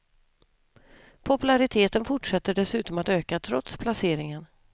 Populariteten fortsätter dessutom att öka trots placeringen.